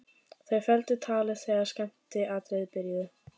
Þau felldu talið þegar skemmtiatriðin byrjuðu.